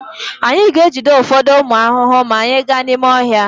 Anyị ga-ejide ụfọdụ ụmụ ahụhụ maa anyị gaa n'ime ọhịa.